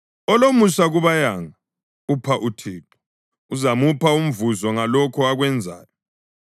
Olomusa kubayanga upha uThixo, uzamupha umvuzo ngalokho akwenzayo.